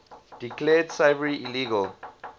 declared slavery illegal